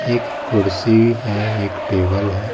एक कुर्सी है एक टेबल है।